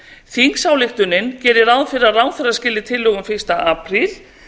þingsályktunin gerir ráð fyrir að ráðherra skili tillögum fyrsta apríl